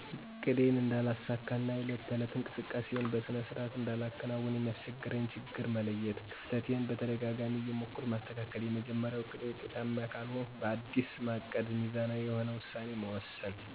እቅዴን እነዳለሳካ እና የዕለት ተዕለት እንቅስቃሴየን በሰነ ስርዓት እንዳላከናውን የሚያሰቸግረኝን ችግር መለየት። ከፍተቴን በተደጋጋማ እየሞከርሁ ማሰተካከል። የመጀመርያው እቅዴ ውጤታማ ካልሆንሁ ባዲስ ማቀድ ሚዛናዊ የሆነ ውሳኔ መወሰን።